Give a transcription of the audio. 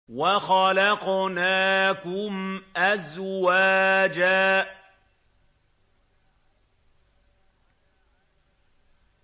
وَخَلَقْنَاكُمْ أَزْوَاجًا